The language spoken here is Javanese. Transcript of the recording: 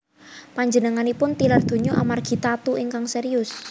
Panjenenganipun tilar donya amargi tatu ingkang serius